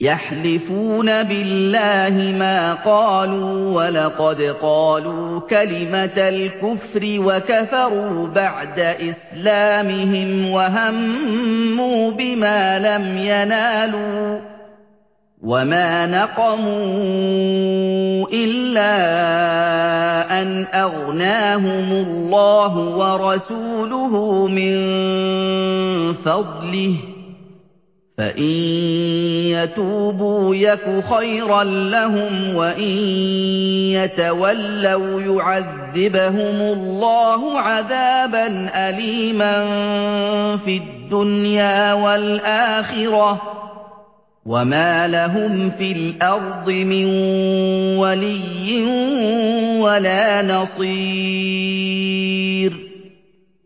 يَحْلِفُونَ بِاللَّهِ مَا قَالُوا وَلَقَدْ قَالُوا كَلِمَةَ الْكُفْرِ وَكَفَرُوا بَعْدَ إِسْلَامِهِمْ وَهَمُّوا بِمَا لَمْ يَنَالُوا ۚ وَمَا نَقَمُوا إِلَّا أَنْ أَغْنَاهُمُ اللَّهُ وَرَسُولُهُ مِن فَضْلِهِ ۚ فَإِن يَتُوبُوا يَكُ خَيْرًا لَّهُمْ ۖ وَإِن يَتَوَلَّوْا يُعَذِّبْهُمُ اللَّهُ عَذَابًا أَلِيمًا فِي الدُّنْيَا وَالْآخِرَةِ ۚ وَمَا لَهُمْ فِي الْأَرْضِ مِن وَلِيٍّ وَلَا نَصِيرٍ